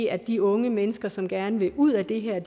at de unge mennesker som gerne vil ud af det her